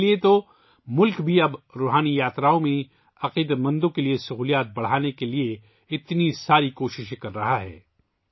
اسی لئے تو ملک بھی اب روحانی یاتراؤں میں عقیدت مندوں کے لئے سہولت بڑھانے کے لئے بہت کوششیں کر رہا ہے